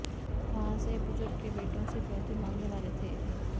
वहां से ये बुजुर्ग के बेटों से फिरौती मांगने वाले थे